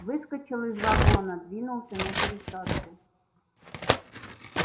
выскочил из вагона двинулся на пересадку